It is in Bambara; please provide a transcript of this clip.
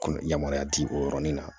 Kɔnɔ yamaruya di o yɔrɔnin na